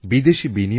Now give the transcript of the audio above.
আমার প্রিয় নাগরিকগণ